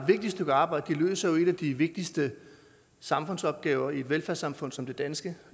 vigtigt stykke arbejde de løser jo en af de vigtigste samfundsopgaver i et velfærdssamfund som det danske